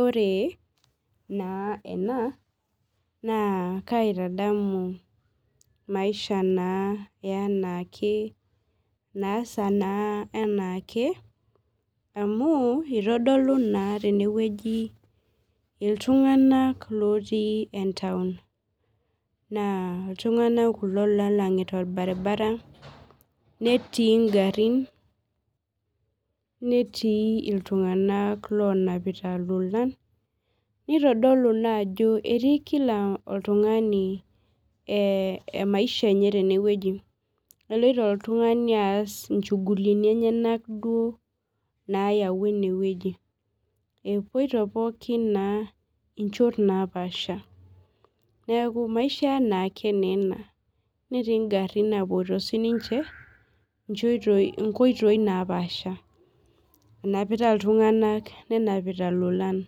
Ore na ena na kaitadamu maisha na enaake naasa enaake amu itodolu naa tenewueji ltunganak otii entaun na ltunganak ele nagira ainyangunye netii ngarin Netii ltunganak oponu aingoru nitodolu naa ajo ketii kila oltungani emaisha enye enewueji eloito oltungani aas nchuguliini enyenak nayawua enewueji epoito pooki na nchot napaasha neaku maisha enaake enaa netii ngarin napoito nchot napaasha enapita ltunganak nenapita lolan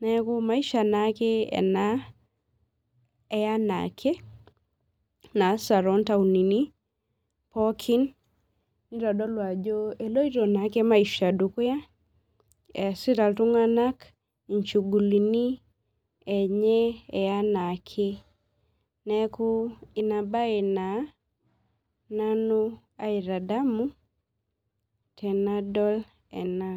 neaku maisha na ena eya anaake naasa tontauni pokki nidolita ajo eloito na maisha dukuya easita ltunganak nchuguliini enye anaak neaku inabae na nanu aitadamu tenadol ena.